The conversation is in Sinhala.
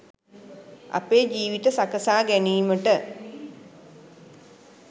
අපේ ජීවිත සකසා ගැනීමට